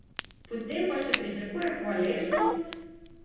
Potem pa še pričakuje hvaležnost!